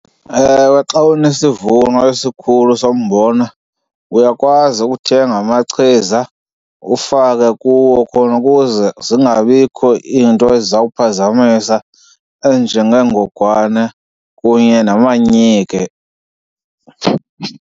Ewe, xa unesivuno esikhulu sombona uyakwazi ukuthenga amachiza ufake kuwo khona ukuze zingabikho into eziza kuphazamisa ezinjengeengogwane kunye namanyike.